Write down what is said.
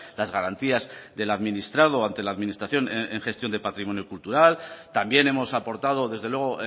las garantías del administrado ante la administración en gestión de patrimonio cultural también hemos aportado desde luego